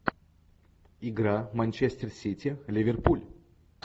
игра манчестер сити ливерпуль